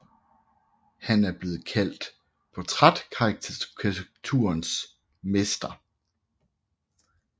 Han er blevet kaldt portrætkarikaturens mester